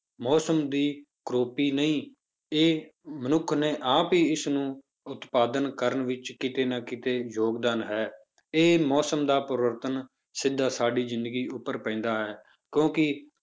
ਮੌਸਮ ਦੀ ਕਰੌਪੀ ਨਹੀਂ, ਇਹ ਮਨੁੱਖ ਨੇ ਆਪ ਹੀ ਇਸਨੂੰ ਉਤਪਾਦਨ ਕਰਨ ਵਿੱਚ ਕਿਤੇ ਨਾ ਕਿਤੇ ਯੋਗਦਾਨ ਹੈ, ਇਹ ਮੌਸਮ ਦਾ ਪਰਿਵਰਤਨ ਸਿੱਧਾ ਸਾਡੀ ਜ਼ਿੰਦਗੀ ਉੱਪਰ ਪੈਂਦਾ ਹੈ, ਕਿਉਂਕਿ